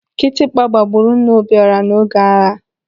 Kịtịkpa gbagburu nna Obiọra n'oge agha.